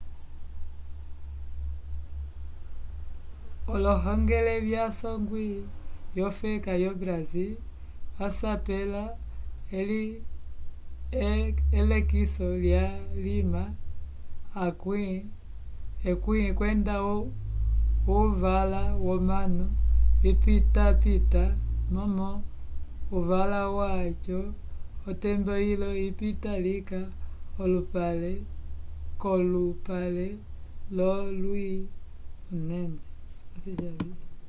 ohongele yasongwi yofeka yo brasil vasapela elekiso lyalima 10 kwenda uvala womanu vikapitapita momo uvala waco otembo yilo yipita lika k'olupale wolwi inene